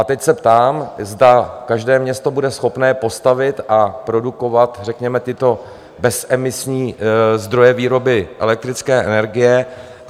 A teď se ptám, zda každé město bude schopné postavit a produkovat řekněme tyto bezemisní zdroje výroby elektrické energie?